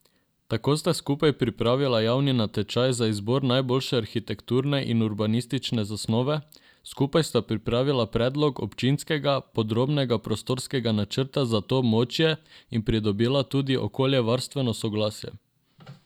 Tako sta skupaj pripravila javni natečaj za izbor najboljše arhitekturne in urbanistične zasnove, skupaj sta pripravila predlog občinskega podrobnega prostorskega načrta za to območje in pridobila tudi okoljevarstveno soglasje.